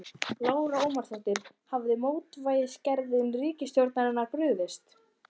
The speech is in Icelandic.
Lára Ómarsdóttir: Hafa mótvægisaðgerðir ríkisstjórnarinnar brugðist?